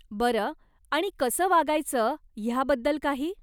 बरं, आणि कसं वागायचं ह्याबद्दल काही?